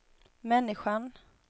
människan